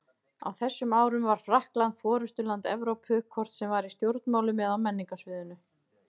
Á þessum árum var Frakkland forystuland Evrópu, hvort sem var í stjórnmálum eða á menningarsviðinu.